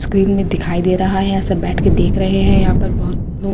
screen में दिखाई दे रहा है ऐसा बैठ कर देख रहे हैं यहां पर बहोत नो--